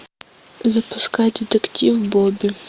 запускай детектив бобби